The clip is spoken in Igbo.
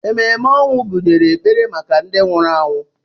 Ememe ọnwụ gụnyere ekpere maka ndị nwụrụ anwụ.